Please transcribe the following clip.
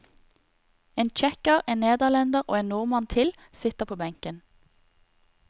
En tsjekker, en nederlender og en nordmann til, sitter på benken.